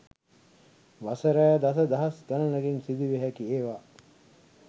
වසර දස දහස් ගණනකින් සිදුවිය හැකි ඒවා